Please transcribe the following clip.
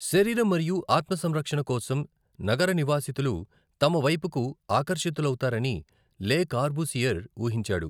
శరీరం మరియు ఆత్మ సంరక్షణ' కోసం నగర నివాసితులు తమ వైపుకు ఆకర్షితులవుతారని లే కార్బూసియర్ ఊహించాడు.